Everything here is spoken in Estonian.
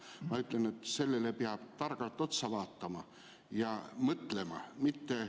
Ma ütlen, et sellele peab targalt otsa vaatama ja mõtlema.